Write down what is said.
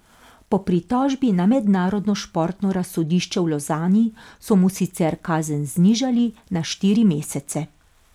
Po pritožbi na Mednarodno športno razsodišče v Lozani so mu sicer kazen znižali na štiri mesece.